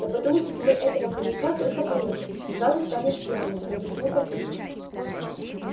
да потому что тебе этого коньяка только понюхать сразу станешь пьяная объяснил папулька